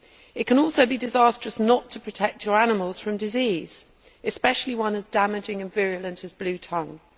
It can also be disastrous not to protect your animals from disease, especially one as damaging and virulent as bluetongue.